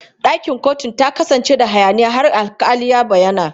Ɗakin kotun ta kasance da hayaniya har alƙali ya bayyana.